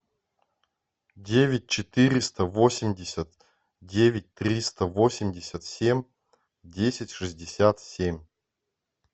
девять четыреста восемьдесят девять триста восемьдесят семь десять шестьдесят семь